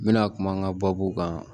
N bɛna kuma n ka baabu kan